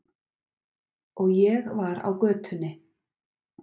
Og ég var á götunni.